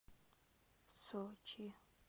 сочи